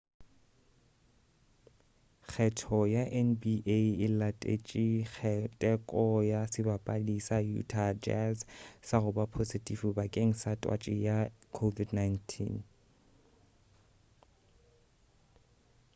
kgetho ya nba e latetše teko ya sebapadi sa utah jazz sa goba posetifi bakeng sa twatši ya covid-19